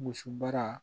Muso baara